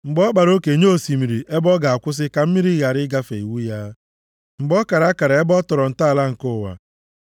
mgbe ọ kpara oke nye osimiri ebe ọ ga-akwụsị, ka mmiri ya ghara ịgafe iwu ya, mgbe ọ kara akara ebe a tọrọ ntọala nke ụwa.